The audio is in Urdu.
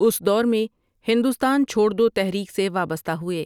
اس دور میں ہندوستان چھوڑ دو تحریک سے وابستہ ہوئے ۔